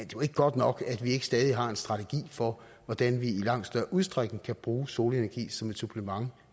jo ikke godt nok at vi stadig ikke har en strategi for hvordan vi i langt større udstrækning kan bruge solenergi som et supplement